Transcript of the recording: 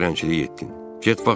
Bəs sən çələngçilik etdin?